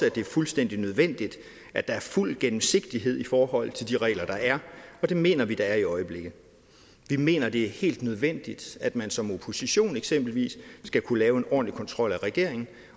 at det er fuldstændig nødvendigt at der er fuld gennemsigtighed i forhold til de regler der er og det mener vi der er i øjeblikket vi mener det er helt nødvendigt at man som opposition eksempelvis skal kunne lave en ordentlig kontrol af regeringen